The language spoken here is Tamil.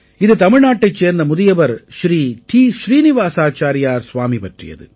இது தமிழ்நாட்டைச் சேர்ந்த முதியவர் ஸ்ரீ டீ ஸ்ரீநிவாஸாச்சாரியார் ஸ்வாமி பற்றியது